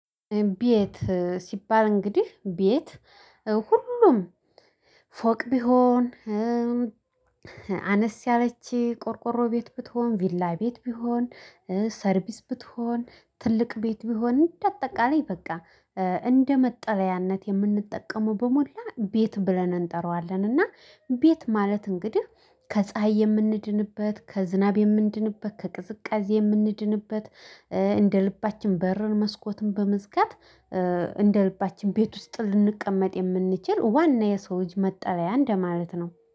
ቤት ሲባል እንግዲህ ቤት ሁሉም ፎቅ ቢሆን አነስ ያለች ቆርቆሮ ቤት ብትሆን ቪላ ቤት ቢሆን ሰርቪስ ብትሆን ትልቅ ቤት ቢሆን እንደ አጠቃላይ በቃ እንደ መጠለያነት የምንጠቀመው በሞላ ቤት ብለን እንጠራዋለን። እና ቤት ማለት እንግዲህ ከፀሀይ የምንድንበት ከዝናብ የምንድንበት ከቅዝቃዜ የምንድንበት። እንደ ልባችን በርን መስኮትን በመዝጋት እንደ ልባችን ቤት ውስጥ ልንቀመጥ የምንችል ዋና የሰው ልጅ መጠለያ እንደማለት ነው